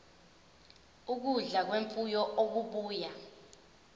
ukudla kwemfuyo okubuya